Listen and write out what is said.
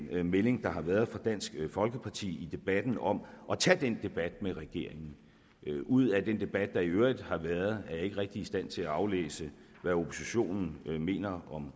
den melding der har været fra dansk folkeparti i debatten om at tage den debat med regeringen ud af den debat der i øvrigt har været er jeg ikke rigtig i stand til at aflæse hvad oppositionen mener